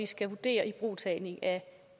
skal vurdere ibrugtagning af